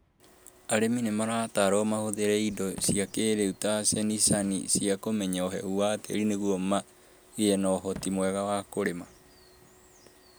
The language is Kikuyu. Arĩmi nĩ marataarũo mahũthĩre indo cia kĩĩrĩu ta cenicaci cia kũmenya ũhehu wa tĩĩri nĩguo magĩe na ũhoti mwega wa kũrĩma.